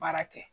Baara kɛ